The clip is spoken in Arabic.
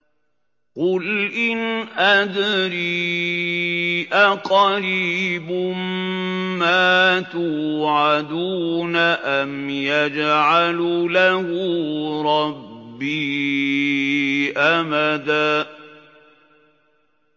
قُلْ إِنْ أَدْرِي أَقَرِيبٌ مَّا تُوعَدُونَ أَمْ يَجْعَلُ لَهُ رَبِّي أَمَدًا